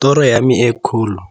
Toro e kgolo ya me